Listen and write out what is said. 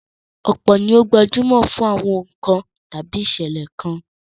Ọ̀pọ̀ ni ó gbajúmọ̀ fún àwọn ohùn kan àbí ìṣẹ̀lẹ̀ kan